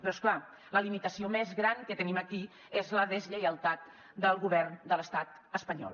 però és clar la limitació més gran que tenim aquí és la deslleialtat del govern de l’estat espanyol